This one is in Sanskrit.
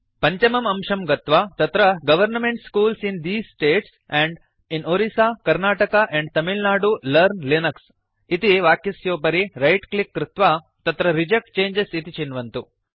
पञ्चमम् अंशं गत्वा तत्र government schools in these states and in Orissa Karnataka and Tamil Nadu learn Linux इति वाक्यस्योपरि रैट् क्लिक् कृत्वा तत्र रिजेक्ट चङ्गे इति चिन्वन्तु